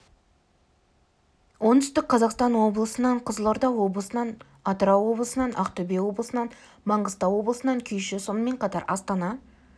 оңтүстік қазақстан облысынан қызылорда облысынан атырау облысынан ақтөбе облысынан маңғыстау облысынан күйші сонымен қатар астана